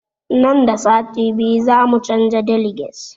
Nan da sati biyu za mu canza deliges